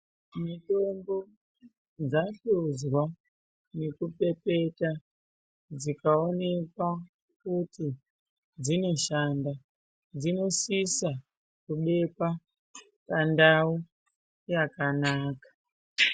Mitombo dzahluzwa nekupepeta dzikaonekwa kuti dzinoshanda dzinosisa kubekwa pandau yakanaka.